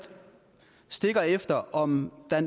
efter om der